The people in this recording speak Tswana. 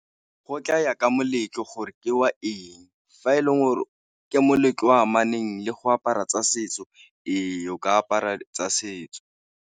Go tlaya ka moletlo gore ke wa eng fa e leng gore ke moletlo o amaneng le go apara tsa setso, ee o ka apara tsa setso.